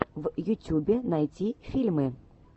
в ютюбе найти фильмы